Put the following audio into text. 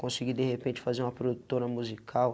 Consegui de repente fazer uma produtora musical.